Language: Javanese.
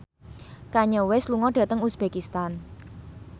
Kanye West lunga dhateng uzbekistan